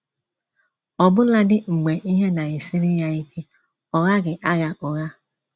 Ọbụladi mgbe ihe na-esiri ya ike, ọ gaghị agha ụgha.